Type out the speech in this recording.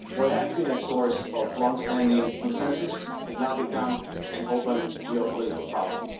What has been a source of long standing consensus has now become an open geopolitical problem.